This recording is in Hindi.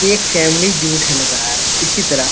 ये एक फैमिली झूट है लग रहा इसी तरह --